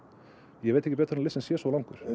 ég veit ekki betur en að listinn sé svo langur